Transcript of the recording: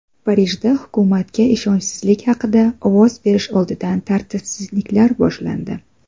Parijda hukumatga ishonchsizlik haqida ovoz berish oldidan tartibsizliklar boshlandi.